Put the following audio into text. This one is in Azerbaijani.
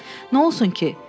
Nə olsun ki?